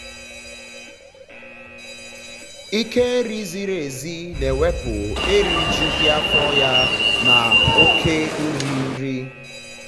ịke nri ziri ểzi na ewepụ erijughị afọ ya na um okể um nri um nri